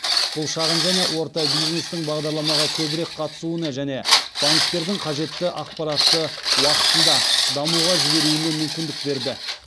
бұл шағын және орта бизнестің бағдарламаға көбірек қатысуына және банктердің қажетті ақпаратты уақытында дамуға жіберуіне мүмкіндік берді